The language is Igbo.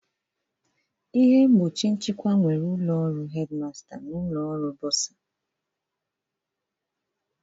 Ihe mgbochi nchịkwa nwere ụlọ ọrụ Headmaster na ụlọ ọrụ bursar